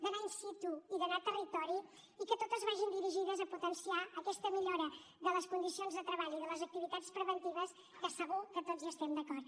d’anar in situ i d’anar a territori i que totes vagin dirigides a potenciar aquesta millora de les condicions de treball i de les activitats preventives que segur que tots hi estem d’acord